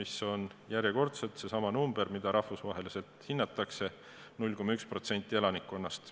See on järjekordselt seesama, nagu rahvusvaheliselt hinnatakse, 0,1% elanikkonnast.